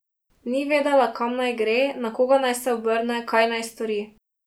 Ni vedela, kam naj gre, na koga naj se obrne, kaj naj stori.